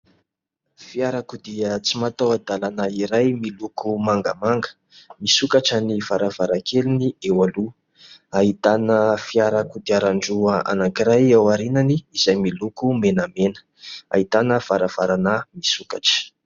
Fiarakodia tsy mataho-dalana iray miloko mangamanga. Misokatra ny varavarankeliny eo aloha, ahitana fiara kodiaran-droa anakiray ao aoriany izay miloko menamena, ahitana varavarana misokatra.